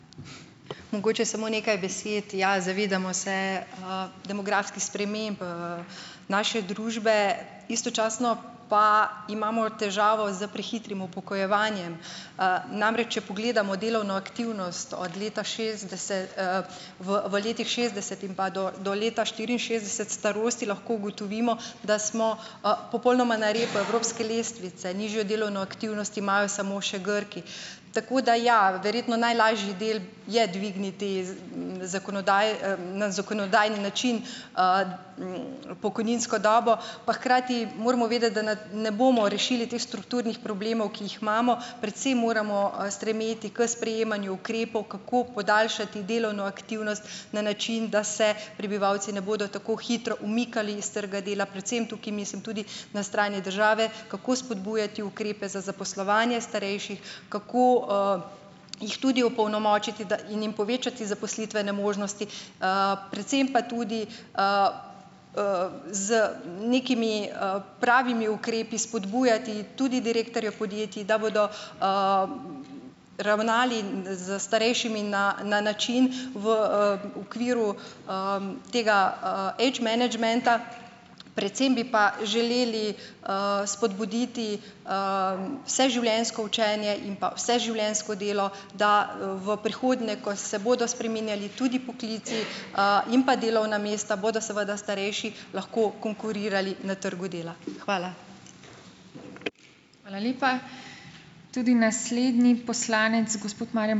Mogoče samo nekaj besed. Ja, zavedamo se, demografskih sprememb, naše družbe. Istočasno pa imamo težavo s prehitrim upokojevanjem. Namreč, če pogledamo delovno aktivnost od leta šestdeset, v, v letih šestdeset in pa do, do leta štiriinšestdeset starosti, lahko ugotovimo, da smo, popolnoma na repu evropske lestvice, nižjo delovno aktivnost imajo samo še Grki. Tako da ja. Verjetno najlažji del je dvigniti z, na zakonodajni način, pokojninsko dobo, pa hkrati moramo vedeti, da na, ne bomo rešili teh strukturnih problemov, ki jih imamo. Predvsem moramo, stremeti k sprejemanju ukrepov, kako podaljšati delovno aktivnost na način, da se prebivalci ne bodo tako hitro umikali iz trga dela, predvsem tukaj mislim tudi na strani države, kako spodbujati ukrepe za zaposlovanje starejših, kako, jih tudi opolnomočiti, da, in jim povečati zaposlitvene možnosti, predvsem pa tudi, z nekimi, pravimi ukrepi spodbujati tudi direktorje podjetij, da bodo, ravnali, z starejšimi na, na način, v, okviru, tega, age menedžmenta, predvsem bi pa želeli, spodbuditi, vseživljenjsko učenje in pa vseživljenjsko delo, da, v prihodnje, ko se bodo spreminjali tudi poklici, in pa delovna mesta, bodo seveda starejši lahko konkurirali na trgu dela. Hvala.